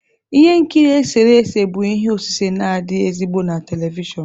Ihe nkiri eserese bụ ihe osise na-adị ezigbo na telivishọn